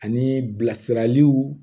Ani bilasiraliw